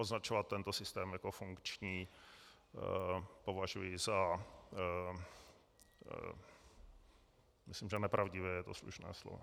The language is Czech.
Označovat tento systém jako funkční považuji za - myslím, že nepravdivé je to slušné slovo.